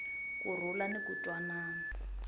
ku rhula ni ku twanana